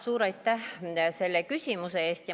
Suur aitäh selle küsimuse eest!